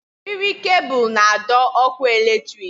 Eriri kebul na adọ ọkụ eletrik